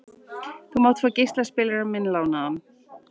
Þú mátt fá geislaspilarann minn lánaðan.